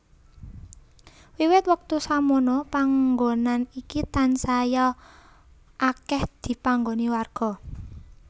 Wiwit wektu samono panggonan iki tansaya akèh dipanggoni warga